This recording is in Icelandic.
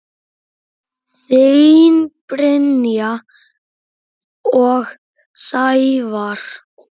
Þín Brynja og Sævar.